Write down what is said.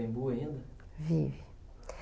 ainda?